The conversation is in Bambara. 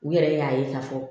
U yɛrɛ y'a ye k'a fɔ